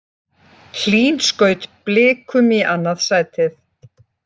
Hlín skaut Blikum í annað sætið